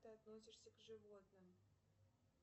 ты относишься к животным